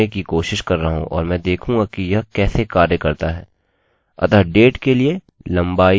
यहाँ मैं date data type को ढूँढने की कोशिश कर रहा हूँ और मैं देखूँगा कि यह कैसे कार्य करता है